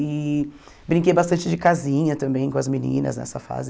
E brinquei bastante de casinha também com as meninas nessa fase.